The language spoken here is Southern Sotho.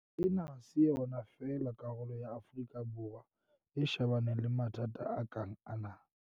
Ena ha se yona fela karolo ya Afrika Borwa e shebaneng le mathata a kang ana.